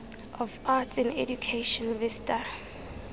of arts in education vista